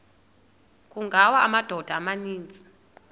kungawa amadoda amaninzi